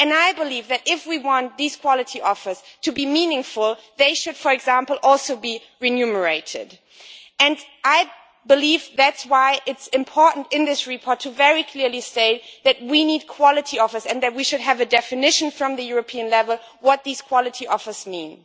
I believe that if we want these quality offers to be meaningful, they should, for example, also be remunerated. That is why it is important for the report to very clearly state that we need quality offers and why we should have a definition at European level as to what these quality offers mean.